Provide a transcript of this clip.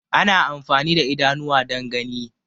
Ana amfani da idanuwa dan gani